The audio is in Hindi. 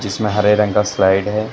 इसमें हरे रंग का स्लाइड है।